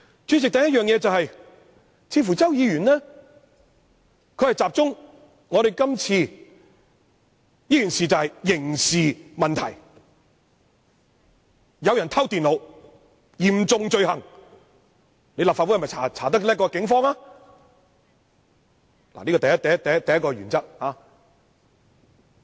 主席，第一點是周議員似乎集中指出今次事件涉及刑事問題，有人觸犯偷電腦這嚴重罪行，立法會的調查會否比警方的更加有效？